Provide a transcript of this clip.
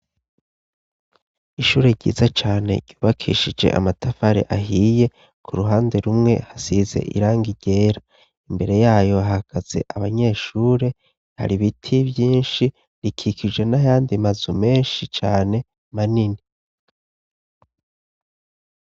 Ishure ryiza cane yubakishije amatafare ahiye ku ruhande rumwe, hasize irangi ryera, imbere yayo hahagaze abanyeshure, hari biti vyinshi, rikikijjwe n'ayandi mazu menshi cane manini.